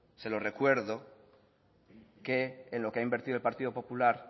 se lo recuerdo que en lo que ha invertido el partido popular